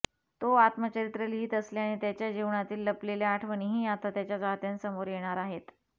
तो आत्मचरित्र लिहित असल्याने त्याच्या जीवनातील लपलेल्या आठवणीही आता त्याच्या चाहत्यांसमोर येणार आहेत